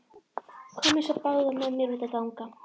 Komiði svo báðar með mér út að ganga.